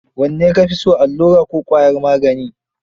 Wanne ka fi so, allura ko ƙwayar magani?